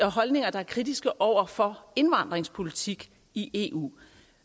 og holdninger der er kritiske over for indvandringspolitik i eu